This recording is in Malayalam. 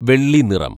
വെള്ളി നിറം